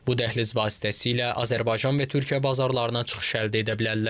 Bu dəhliz vasitəsilə Azərbaycan və Türkiyə bazarlarına çıxış əldə edə bilərlər.